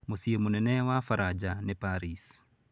Mũciĩ mũnene wa Baranja nĩ Paris.